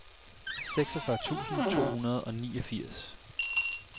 seksogfyrre tusind to hundrede og niogfirs